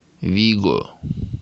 виго